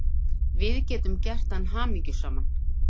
Við getum gert hann hamingjusaman.